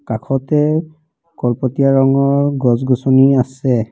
কাষতে কলপতিয়া ৰঙৰ গছ গছনি আছে।